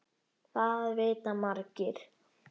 Þetta vita margir.